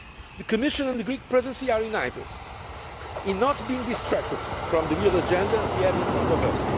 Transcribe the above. The Commission and the Greek Presidency are united in not being distracted from the real agenda we have in front of us.